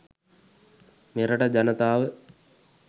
මෙරට ජනතාව